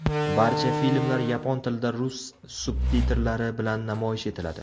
Barcha filmlar yapon tilida rus subtitrlari bilan namoyish etiladi.